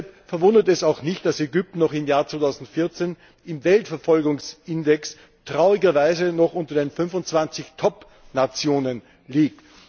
Deshalb verwundert es auch nicht, dass Ägypten auch im Jahr 2014 im Weltverfolgungsindex traurigerweise noch unter den 25 Topnationen liegt.